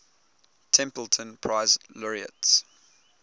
templeton prize laureates